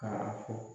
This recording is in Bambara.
Ka a fɔ